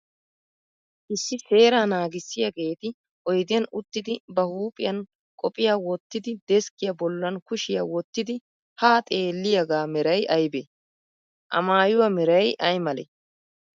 Issi seeraa naagissiyaageeti oyidiyan uttidi ba huuphiyan qophiyaa wottidi deskkiyaa bollan kushiyaa wottidi haa xeelliyagaa meray ayibee? A mayyuwa meray ayi malee?